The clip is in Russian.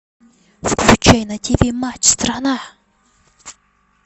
включай на ти ви матч страна